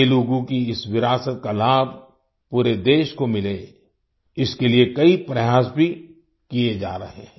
तेलुगू की इस विरासत का लाभ पूरे देश को मिले इसके लिए कई प्रयास भी किये जा रहे हैं